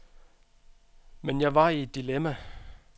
Men jeg var i et dilemma.